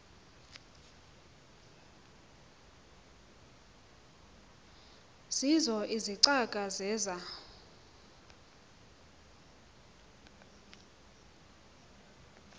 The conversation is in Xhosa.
zeezo izicaka zeza